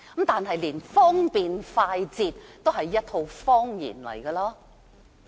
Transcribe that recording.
此外，連方便快捷也是謊言。